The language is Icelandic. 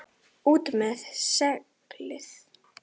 ÚT MEÐ SEGLIÐ!